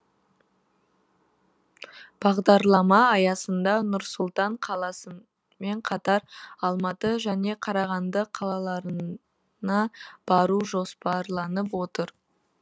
бағдарлама аясында нұр сұлтан қаласымен қатар алматы және қарағанды қалаларына бару жоспарланып отыр